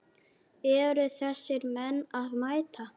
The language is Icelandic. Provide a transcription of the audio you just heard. Eru þessir menn að mæta?